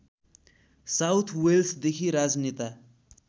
south वेल्सदेखि राजनेता